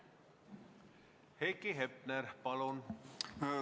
Heiki Hepner, palun!